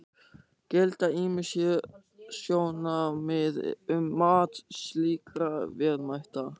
Gilda ýmis sérsjónarmið um mat slíkra verðmæta.